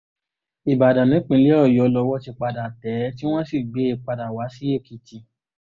ìbàdàn nípínlẹ̀ ọ̀yọ́ lowó ti padà tẹ̀ ẹ́ tí wọ́n sì gbé e padà wá sí èkìtì